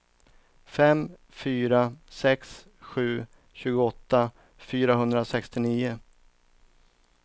fem fyra sex sju tjugoåtta fyrahundrasextionio